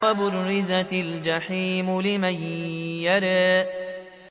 وَبُرِّزَتِ الْجَحِيمُ لِمَن يَرَىٰ